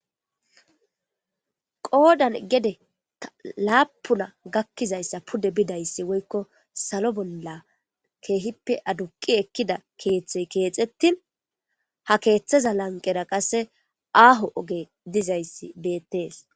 qoodan gede ta laapuna gakkizayssa pude bidayssi woykko salo bolla keehippe aduqi ekkida keeththey keexettin ha keeththaza lanqera qasse aaho oge dizayssi bettees